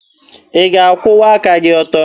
Ị ga-akwụwa aka gị ọtọ?